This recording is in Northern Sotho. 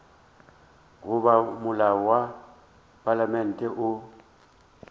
goba molao wa palamente o